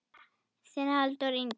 Þinn Halldór Ingi.